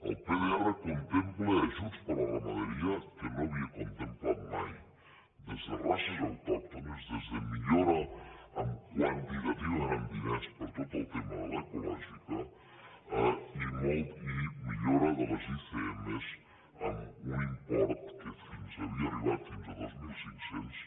el pdr contempla ajuts per a la ramaderia que no havia contemplat mai des de races autòctones des de millora quantitativament en diners per tot el tema de l’ecològica i millora de les icm amb un import que havia arribat fins a dos mil cinc cents